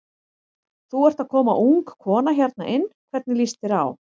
Þú ert að koma ung kona hérna inn, hvernig líst þér á?